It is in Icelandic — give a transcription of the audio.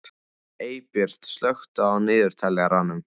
Eybjört, slökktu á niðurteljaranum.